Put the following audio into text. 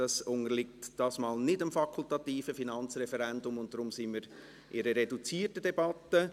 Es unterliegt dieses Mal nicht dem fakultativen Finanzreferendum, und daher sind wir in einer reduzierten Debatte.